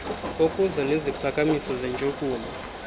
okuza neziphakamiso zentshukumo